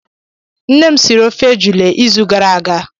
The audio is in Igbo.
Nnem siri ofe ejula ịzụ gara aga